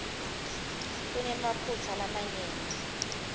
kunemaphutsa lamanyenti